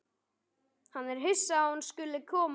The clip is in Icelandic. Hann er hissa að hún skuli vera að koma.